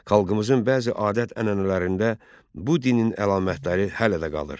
Xalqımızın bəzi adət-ənənələrində bu dinin əlamətləri hələ də qalır.